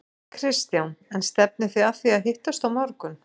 Kristján: En stefnið þið að því að hittast á morgun?